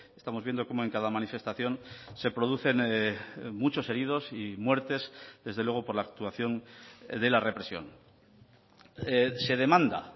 estamos viendo cómo en cada manifestación se producen muchos heridos y muertes desde luego por la actuación de la represión se demanda